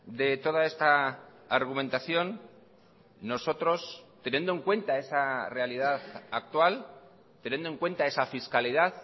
de toda esta argumentación nosotros teniendo en cuenta esa realidad actual teniendo en cuenta esa fiscalidad